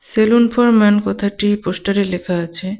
Salon for man কথাটি পোস্টারে লেখা আছে.